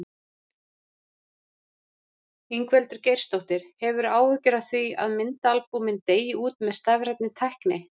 Ingveldur Geirsdóttir: Hefurðu áhyggjur af því að myndaalbúmin deyi út með stafrænni tækni?